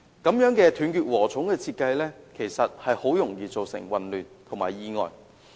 這種"斷截禾蟲"的設計，其實很容易造成混亂及意外。